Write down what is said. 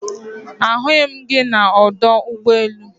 Ahughi m gi na Odo Ugbo elu